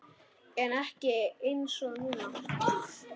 En ekki einsog núna.